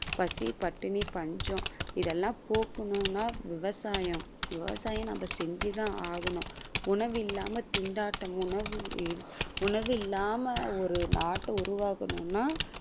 பசி பட்டினி பஞ்சம் இதெல்லாம் போக்கணும்னா விவசாயம் விவசாயம் நம்ம செஞ்சி தான் ஆகணும். உணவில்லாம திண்டாட்டம் உணவு~ உணவில்லாமல் ஒரு நாட்டை உருவாக்கணும்னா